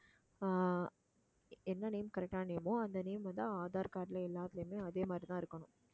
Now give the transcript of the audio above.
ஆஹ் என்ன name correct ஆன name ஓ அந்த name வந்து aadhar card ல எல்லாத்துலயுமே அதே மாதிரிதான் இருக்கணும்